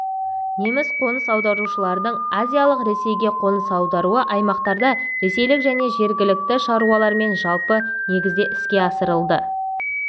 неміс қоныс аударушыларының азиялық ресейге қоныс аударуы аймақтарда ресейлік және жергілікті шаруалармен жалпы негізде іске асырылды